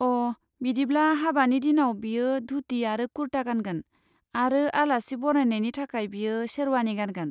अ, बिदिब्ला हाबानि दिनाव बियो धुति आरो कुर्ता गानगोन आरो आलासि बरायनायनि थाखाय बियो शेरवानि गानगोन।